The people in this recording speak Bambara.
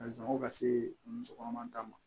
A sɔngɔ ka se muso kɔnɔma ta ma